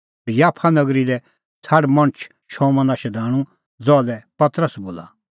और याफा नगरी लै छ़ाड मणछ शमौना शधाणूं ज़हा लै पतरस बोला